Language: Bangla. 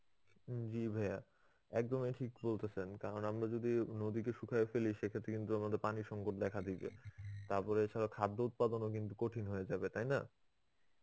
জি ভায়া একদমই ঠিক বলতেছেন. কারণ আমরা যদি নদীকে শুকাইয়া ফেলি সেক্ষেত্রে কিন্তু আমাদের পানি সংকট দেখা দিবে. তারপরে এছাড়া খাদ্য উৎপাদনও কিন্তু কঠিন হয়ে যাবে. তাই না?